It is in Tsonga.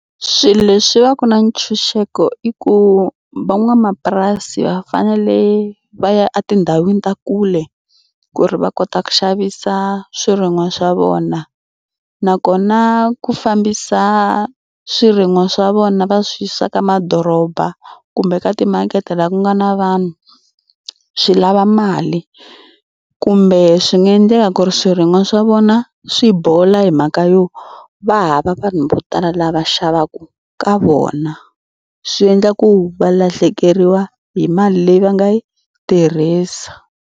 Swilo leswi va ku na ntshunxeko i ku van'wamapurasi va fanele va ya etindhawini ta le kule ku ri va kota ku xavisa swirin'wa swa vona nakona ku fambisa swirin'wa swa vona va swi yisa ka madoroba kumbe ka timakete laha ku nga na vanhu swi lava mali kumbe swi nga endleka ku ri swirin'wa swa vona swi bola hi mhaka yo va hava vanhu vo tala lava xavaka ka vona. Swi endla ku va lahlekeriwa hi mali leyi va nga yi tirhisa.